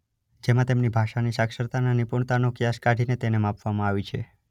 જેમાં તેમની ભાષાની સાક્ષરતા અને નિપુણતાનો ક્યાસ કાઢીને તેને માપવામાં આવી છે.